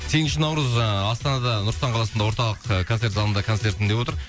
сегізінші наурыз жаңағы астанада нұр сұлтан қаласында орталық ы концерт залында концертім деп отыр